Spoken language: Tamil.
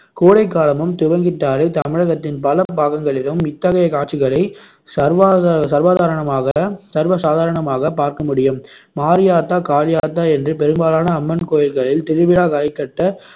கோடைக்காலமும் துவங்கிட்டாலே தமிழகத்தின் பல பாகங்களிலும் இத்தகைய காட்சிகளை சர்வா~ சர்வாதாரணமாக~ சர்வசாதாரணமாக பார்க்கமுடியும் மாரியாத்தா காளியாத்தா என்று பெரும்பாலான அம்மன் கோயில்களில் திருவிழா களைகட்ட